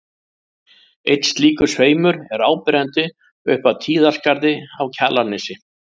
Einn slíkur sveimur er áberandi upp af Tíðaskarði á Kjalarnesi.